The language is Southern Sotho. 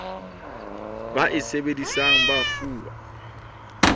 ba e sebedisang ba fuwa